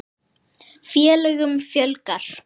Félögum fjölgar